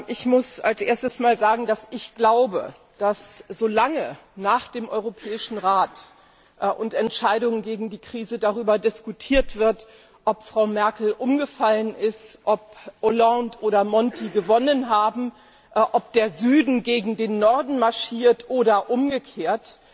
Ich muss als erstes sagen, dass solange nach dem Europäischen Rat und nach den Entscheidungen gegen die Krise darüber diskutiert wird, ob Frau Merkel umgefallen ist, ob Hollande oder Monti gewonnen haben, ob der Süden gegen den Norden marschiert oder umgekehrt,